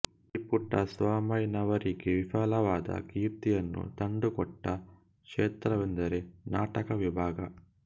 B ಪುಟ್ಟಸ್ವಾಮಯ್ಯನವರಿಗೆ ವಿಫುಲವಾದ ಕೀರ್ತಿಯನ್ನು ತಂದುಕೊಟ್ಟ ಕ್ಷೇತ್ರವೆಂದರೆ ನಾಟಕ ವಿಭಾಗ